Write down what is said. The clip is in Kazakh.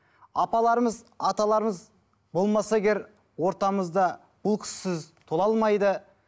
апаларымыз аталарымыз болмаса егер ортамызда бұл кісісіз тола алмайды